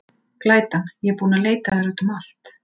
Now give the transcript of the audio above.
Glætan, ég er búin að leita að þér út um allt.